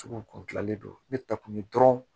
Sugu kun gilannen don ne ta kun ye dɔrɔn